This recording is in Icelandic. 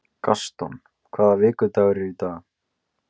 Gaston, hvaða vikudagur er í dag?